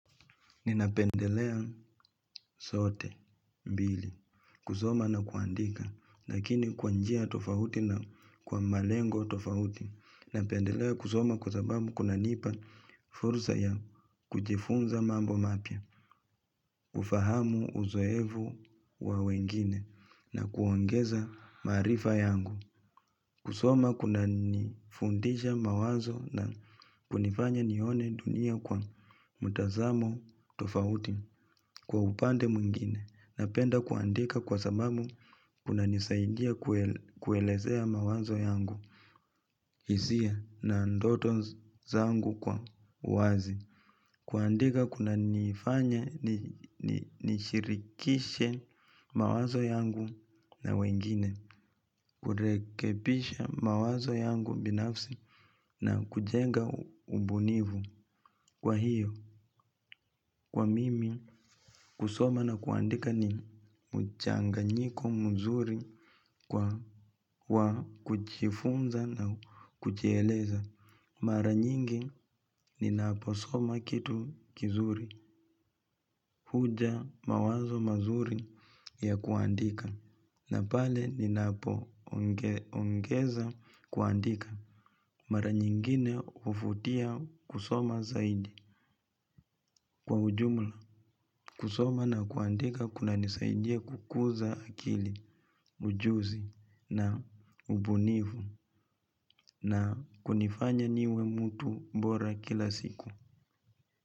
Ninapendelea zote, mbili. Kusoma na kuandika. Lakini kwa njia tofauti na kwa malengo tofauti. Napendelea kusoma kwa sababu kunanipa fursa ya kujifunza mambo mapya. Ufahamu, uzoefu wa wengine, na kuongeza maarifa yangu. Kusoma kuna nifundisha mawazo na kunifanya nione dunia kwa mtazamo tofauti. Kwa upande mwingine napenda kuandika kwa sababu kunanisaidia kuelezea mawazo yangu. Hisia na ndoto zangu kwa wazi. Kuandika kuna nifanya nishirikishe mawazo yangu na wengine. Kurekebisha mawazo yangu binafsi na kujenga ubunifu. Kwa hiyo kwa mimi, kusoma na kuandika ni mchanganyiko mzuri, kwa kujifunza na kujieleza. Mara nyingi ninapo soma kitu kizuri, huja mawazo mazuri ya kuandika, na pale ni napo ongeza kuandika. Mara nyingine huvutia kusoma zaidi kwa ujumla. Kusoma na kuandika kuna nisaidia kukuza akili, ujuzi na ubunifu. Na kunifanya niwe mtu mbora kila siku.